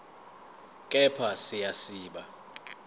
kepha siya siba